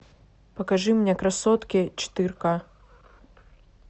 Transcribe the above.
покажи мне красотки четыре ка